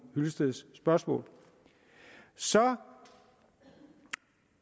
hyllesteds spørgsmål så